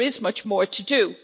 There is much more to do.